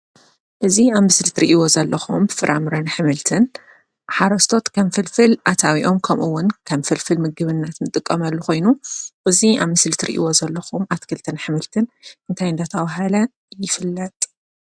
እዚ አብ ምስሊ እትሪእዎ ዘለኩም ፍራምረን አሕምልትን ሓረስቶት ከም ፍልፍል አታዊኦም ከምኡ እውን ከም ፍልፍል ምግብና ንጥቀመሉ ኮይኑ እዚ አብ ምስሊ እትሪእዎ ዘለኩም አትክልትን አሕምልትን እንታይ እናተባህለ ይፍለጥ?